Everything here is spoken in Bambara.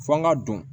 Fɔ n ka don